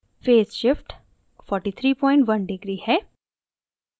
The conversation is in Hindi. फेज़ shift 431 deg degree है